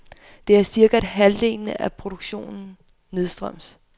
Det er cirka halvdelen af produktionen nedstrøms.